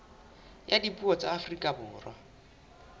ya dipuo tsa afrika borwa